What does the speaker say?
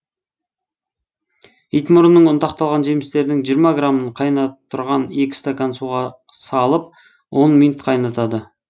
итмұрынның ұнтақталған жемістерінің жиырма грамын қайнап тұрған екі стакан суға салып он минут қайнатады